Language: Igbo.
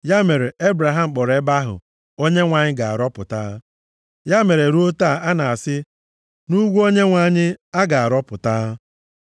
Ya mere, Ebraham kpọrọ ebe ahụ, “ Onyenwe anyị ga-arọpụta. + 22:14 Maọbụ, Onyenwe anyị Jaire” Ya mere ruo taa a na-asị, “Nʼugwu Onyenwe anyị, a ga-arọpụta.”